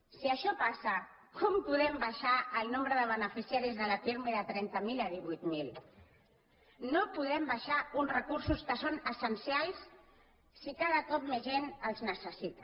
si això passa com podem baixar el nombre de beneficiaris de la pirmi de trenta mil a divuit mil no podem baixar uns recursos que són essencials si cada cop més gent els necessita